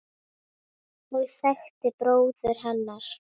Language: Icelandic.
og þekktir bróður hennar.